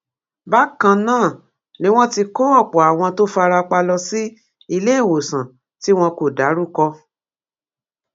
bákan náà ni wọn ti kó ọpọ àwọn tó fara pa lọ sí iléewòsàn tí wọn kò dárúkọ